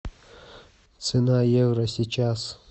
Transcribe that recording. цена евро сейчас